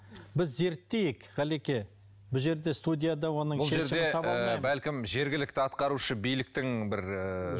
біз зерттейік ғалеке бұл жерде студияда оның бұл жерде ы бәлкім жергілікті атқарушы биліктің бір ыыы